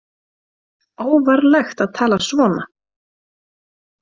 Óvarlegt að tala svona